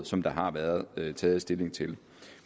som der har været taget stilling til